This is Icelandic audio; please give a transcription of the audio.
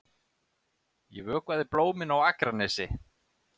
Ég vökvaði blómin á Akranesi.